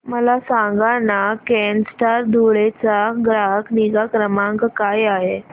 मला सांगाना केनस्टार धुळे चा ग्राहक निगा क्रमांक काय आहे